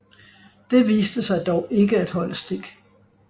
Det viste sig dog ikke at holde stik